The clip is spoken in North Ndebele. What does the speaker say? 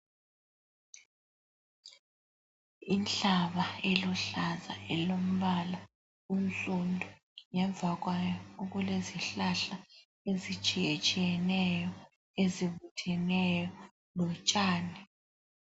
Inhlaba eluhlaza elombala onsundu ,ngemva kwayo okulezihlahla ezitshiyetshiyeneyo ezibutheneyo lotshani